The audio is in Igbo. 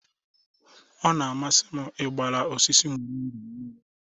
Ọ na-amasị m ịgbara osisi moringa mmiri.